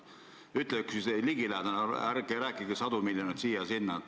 Ütle üks tõenäoline arv, ärge rääkige sadu miljoneid siia-sinna!